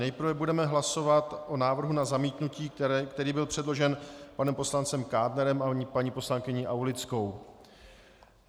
Nejprve budeme hlasovat o návrhu na zamítnutí, který byl předložen panem poslancem Kádnerem a paní poslankyní Aulickou.